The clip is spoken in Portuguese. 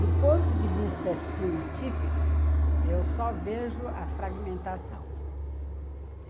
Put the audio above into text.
Do ponto de vista científico, eu só vejo a fragmentação.